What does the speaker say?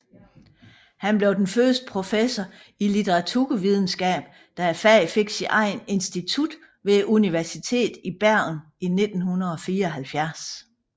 Han blev den første professor i litteraturvidenskab da faget fik sit eget institut ved Universitetet i Bergen i 1974